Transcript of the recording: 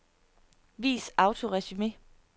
Vis autoresumé.